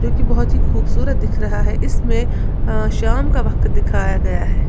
बहोत ही खूबसूरत दिख रहा है इसमें शाम का वक्त दिखाया गया है।